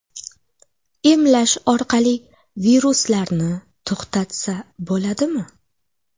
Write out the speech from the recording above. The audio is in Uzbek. Emlash orqali viruslarni to‘xtatsa bo‘ladimi?